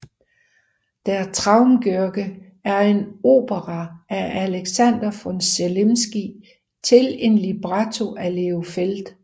Der Traumgörge er en opera af Alexander von Zemlinsky til en libretto af Leo Feld